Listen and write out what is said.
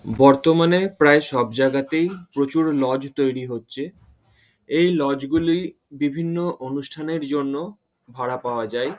বর্তমানে প্রায় সব জায়গাতেই প্রচুর লজ তৈরী হচ্ছে। এই লজ -গুলি বিভিন্ন অনুষ্ঠানের জন্য ভাড়া পাওয়া যায়।